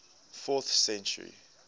fourth century